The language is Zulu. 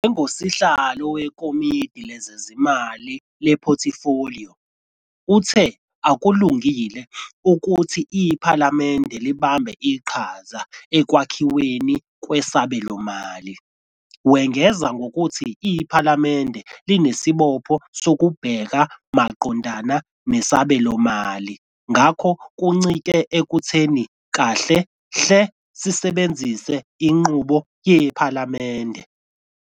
Njengosihlalo wekomidi lezezimali lephothifoliyo, uthe "akulungile" ukuthi iphalamende libambe iqhaza ekwakhiweni kwesabelomali, wengeza ngokuthi "iPhalamende linesibopho sokubheka maqondana nesabelomali ngakho kuncike ekutheni kahle-hle sisebenzisa inqubo yePhalamende.